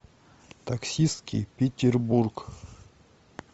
таксистский петербург